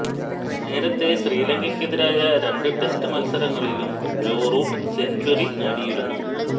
നേരത്തെ ശ്രീലങ്കക്കെതിരായ രണ്ട് ടെസ്റ്റ് മത്സരങ്ങളിലും ജോ റൂട്ട് സെഞ്ച്വറി നേടിയിരുന്നു